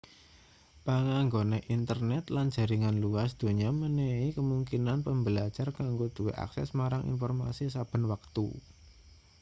panganggone internet lan jaringan luas donya menehi kemungkinan pembelajar kanggo duwe akses marang informasi saben wektu